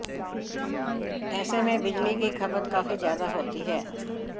ऐसे में बिजली की खपत काफी ज्यादा होती है